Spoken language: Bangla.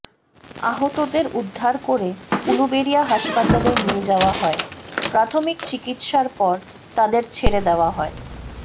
আহতদের উদ্ধার করে উলুবেড়িয়া হাসপাতালে নিয়ে যাওয়া হয় প্রাথমিক চিকিৎসার পর তাঁদের ছেড়ে দেওয়া হয়